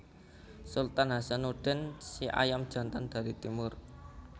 Sultan Hasanuddin Si Ayam Jantan dari Timur